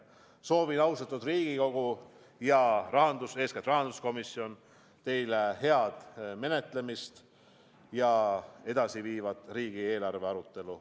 Soovin, austatud Riigikogu ja eeskätt rahanduskomisjon, teile head menetlemist ja edasiviivat riigieelarve arutelu.